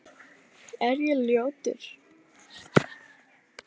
Er ég ljótur?